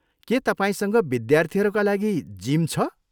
के तपाईँसँग विद्यार्थीहरूका लागि जिम छ?